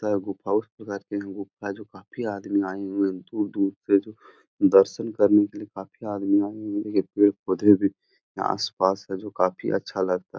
जो काफी आदमी आए हुए हैं दूर-दूर से जो दर्शन करने के लिए काफी आदमी आए हुए हैं। पेड़-पौधे भी आसपास है जो काफी अच्छा लग--